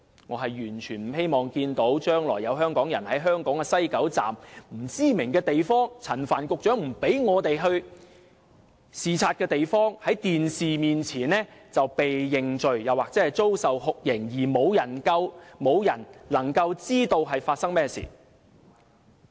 我完全不希望看到將來有香港人，在香港西九龍站內不知名的地方即陳帆局長不讓我們前往視察的地方在電視面前"被認罪"或遭受酷刑而無人能夠知道發生甚麼事。